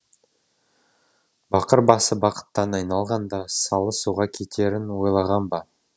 бақыр басы бақыттан айналғанда салы суға кетерін ойлаған ба